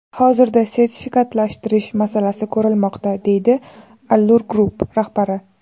Hozirda sertifikatlashtirish masalasi ko‘rilmoqda, deydi Allur Group rahbari.